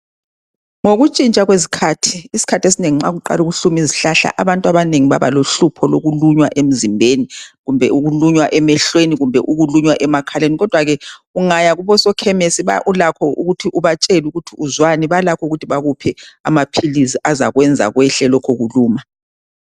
Ngokuntshintsha kwezikhathi, isikhathi esinengi nxa kuqala ukuhluma izihlahla abantu abanengi bablaohlupho lokulunywa emzimbeni, kumbe ukulunywa emehlweni kumbe ukulunywa emakhaleni. Kodwa ke ungaya kubosokhemisi ubatshele ukuthi uzwani balokho ukunika amaphilisi azakwenza kwehle lokhu kuluma.